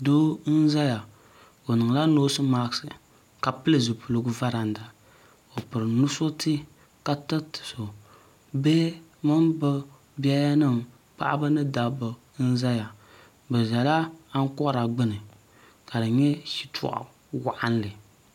do n zaya o nila nosimaki ka pɛli zupɛligu varanda o pɛri nuusurtɛ ka tɛriti so bihi mini be bɛyanim paɣ' ni daba n zaya bɛ zala akori gbani ka di nyɛ shɛtuɣ' waɣilinli